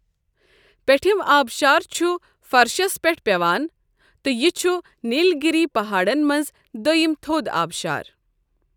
پیٚٹھم آبشار چھ فرشس پیٹھ پیوان تہٕ یہِ چھٗ نیل گری پہاڈ ن منز دوٚیم تھوٚد آبشار ۔